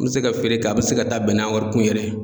N be se ka feere kɛ, a be se ka taa bɛn n'a wari kun yɛrɛ ye.